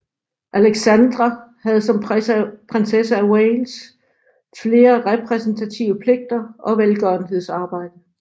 Alexandra havde som prinsesse af Wales flere repræsentative pligter og velgørenhedsarbejde